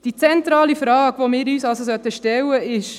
Die zentrale Frage, die wir uns stellen sollten, lautet: